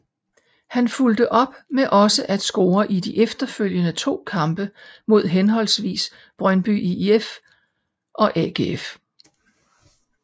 Han fulgte op med også at score i de efterfølgende to kampe mod henholdsvis Brøndby IF og AGF